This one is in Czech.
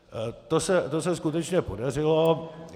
To se skutečně podařilo.